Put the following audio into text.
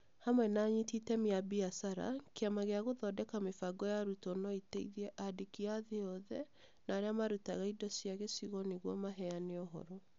Hamwe na anyiti itemi a biacara, Kĩama gĩa gũthondeka mĩbango ya arutwo no ĩteithie andĩki a thĩ yothe na arĩa marutaga indo cia gĩcigo nĩguo maheane ũhoro.